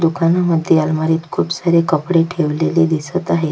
दुकानामध्ये अलमारीत खुप सारे कपडे ठेवलेले दिसत आहेत.